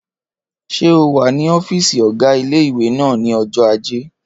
Ṣé o wà ní ọ́fìsì ọgá ilé-ìwé náà ní ọjọ́ ajé?